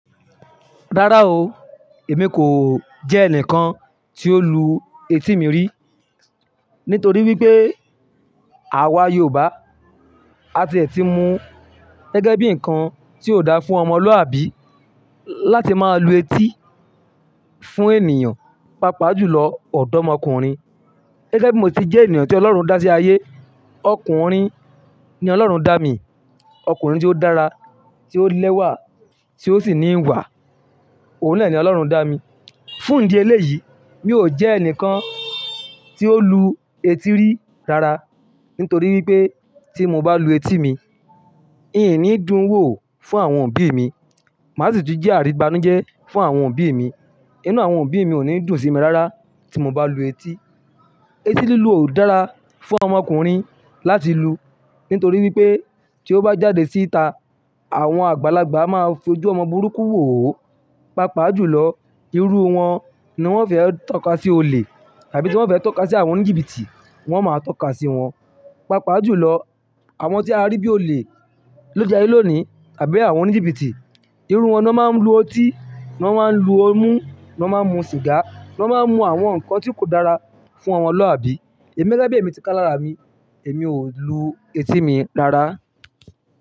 Rárá o, èmi kò jẹ́ ẹnìkan tí ó lu etí mi rí, nítorí wípé àwa Yorùbá á ti ẹ̀ ti mu gẹ́gẹ́ bí ǹkan tí ò dáa fún ọmọlúàbí láti máa lu etí fún ènìyàn, pàápàá jùlọ ọ̀dọ́mọkùnrin. Gẹ́gẹ́ bí mo ti jẹ́ ènìyàn tí Ọlọ́run dá sí ayé, ọkùnrin ni Ọlọ́run dá mi, ọkùnrin tí ó dára, tí ó lẹ́wà, tí ó sì ní ìwà, òun náà ni Ọlọ́run dá mi. Fún ìdí eléyìí, mi ò jẹ́ ẹnìkan tí ó lu etí rí rárá, nítorí wípé tí mo bá lu etí mi, ì ni dún wò fún àwọn òbí mi. Màá sì tún jẹ́ àrígbánújẹ́ fún àwọn òbí mi. Inú àwọn òbí mi ò ní dùn sí mi rárá tí mo bá lu etí. Etí lílu ò dára fún ọmọkùnrin láti lu, nítorí wípé tí ó bá jáde síta, àwọn àgbàlagbà a máa fojú ọmọ burúkú wò ó, pàápàá jùlọ irú wọn ni wón fẹ́ ń tọ́ka sí olè tàbí tí wón fẹ́ ń tọ́ka sí àwọn oníjìbìtì, wón máa tọ́ka sí wọn. Pàápàá jùlọ àwọn tí a rí bí olè l'óde aye lónìí àbí àwọn oníjìbìtì, irú wọn lọ́ máa ń lu ọtí, lọ́ máa ń lu ọmú, lọ́ máa ń mu sìgá, lọ́ máa ń mu àwọn nǹkan tí kò dára fún ọmọlúàbí. Ẹ̀mi gege bí èmi ti ká lára mi, èmi ò lu etí mi rárá.